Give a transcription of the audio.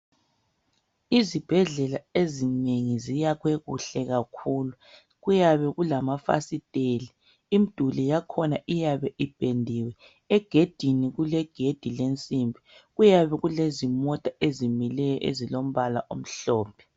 Izibhedlela ezinengi ziyakhwe kuhle kakhulu, kuyabe kulamafasiteli imiduli yakhona iyabe ipendiwe egedini kulegedi lensimbi kuyabe kulezi mota ezimileyo ezilombala emhlophe.